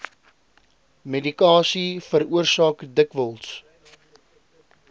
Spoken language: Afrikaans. medikasie veroorsaak dikwels